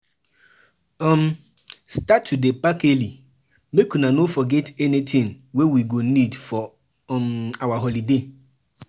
um Start to dey pack early, make una no forget anything wey we go need for um our holiday.